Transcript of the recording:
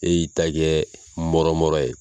E y'i ta kɛɛ mɔrɔmɔrɔ ye